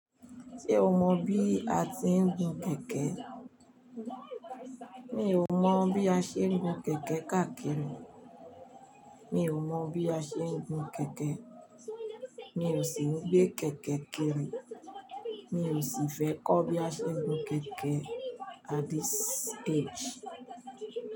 Ṣé o mọ bí a ti ń gun kẹ̀kẹ́? Mi ò mọ̀ bí a ṣe ń gun kẹ̀kẹ́ káàkiri. Mi ò mọ̀ bí a ṣe ń gun kẹ̀kẹ́. Mi ò sì ń gbé kẹ̀kẹ́ kiri. Mi ò sì fẹ́ kọ́ bí a ṣe ń gun kẹ̀kẹ́ at this age.